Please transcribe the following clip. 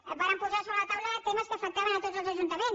vàrem posar sobre la taula temes que afectaven tots els ajuntaments